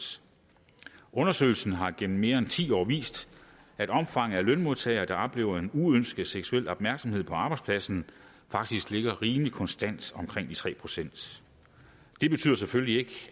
undersøgelser har gennem mere end ti år vist at omfanget af lønmodtagere der oplever en uønsket seksuel opmærksomhed på arbejdspladsen faktisk ligger rimelig konstant omkring de tre procent det betyder selvfølgelig ikke